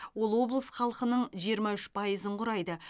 ол облыс халқының жиырма үш пайызын құрайды